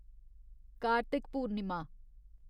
Kartik Purnima